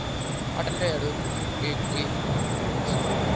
tevhelwa kwe kwa bveledzisa maga